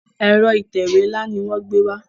Ẹ̀rọ ìtẹ̀wé nla ní wón gbé wá.